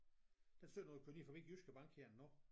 Den ser du når du kører ned forbi Jyske bank her nu